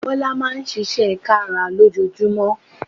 Bọ́lá Máa ń ṣiṣẹ́ kára lójoojúmọ́